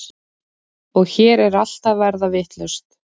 Og hér er allt að verða vitlaust.